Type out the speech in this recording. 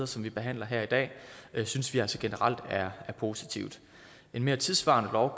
som vi behandler her i dag synes vi altså generelt er positiv en mere tidssvarende lov